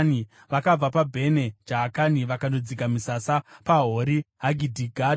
Vakabva paBhene Jaakani vakandodzika misasa paHori Hagidhigadhi.